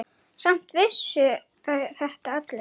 Samt vissu þetta allir.